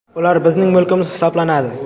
Ular bizning mulkimiz hisoblanadi.